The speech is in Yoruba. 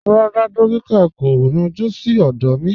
Rárá, dòkítà̀ kò yọ̀jú sí ọdọ mi.